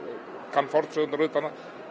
kann fornsögurnar utanað